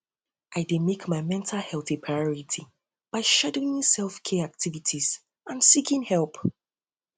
i dey make my mental um health a priority by scheduling selfcare activities and seeking help